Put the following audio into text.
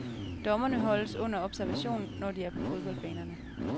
Dommerne holdes under observation, når de er på fodboldbanerne.